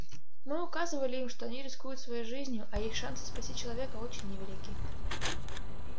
мы указывали им что они рискуют своей жизнью а их шансы спасти человека очень невелики